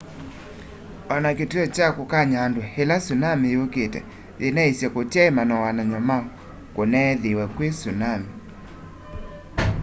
ona kituo kya kukany'a andu ila tsunami yukite yinaisye kutyai manowanany'o ma kuneethiiwe kwi tsunami